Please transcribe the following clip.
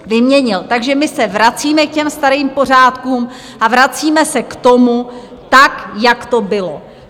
Takže my se vracíme k těm starým pořádkům a vracíme se k tomu tak, jak to bylo.